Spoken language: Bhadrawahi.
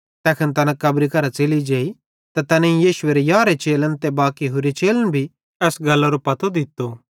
तैखन तैना कब्री करां च़ेलि जेई त तैनेईं यीशु एरे यारहे चेलन ते बाकी होरि चेलन भी एस गल्लरो पतो दित्तो